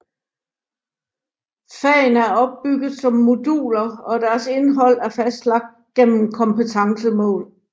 Fagene er opbygget som moduler og deres indhold er fastlagt gennem kompetencemål